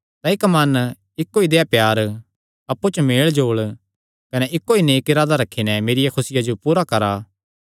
तां इक्क मन इक्को ई देहया प्यार अप्पु च मेलजोल कने इक्को ई नेक इरादा रखी नैं मेरिया खुसिया जो पूरा करा